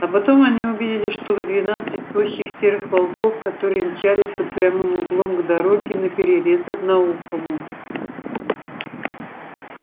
а потом они увидели штук двенадцать тощих серых волков которые мчались под прямым углом к дороге наперерез одноухому